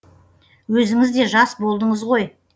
өзіңіз де жас болдыңыз ғой